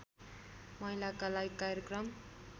महिलाका लागि कार्यक्रम